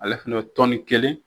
Ale fana bɛ tɔni kelen